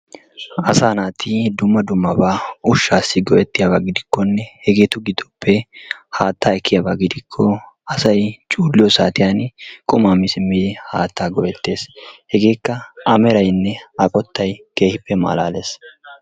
Asaa natti dumma dumma baa ushasi go'ettiyaba giddikonne hegetu gidoppe hatta ekiyaba gidikko assay culliyo sattiyan qumma mi simmidi hattaa go'ettees, hegekka a meraynne a qottay kehippe malaless.